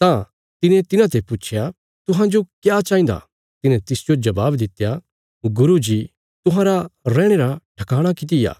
तां तिने तिन्हाते पुच्छया तुहांजो क्या चाहिन्दा तिन्हे तिसजो जबाब दित्या गुरू जी तुहांरा रैहणे रा ठकाणा किति आ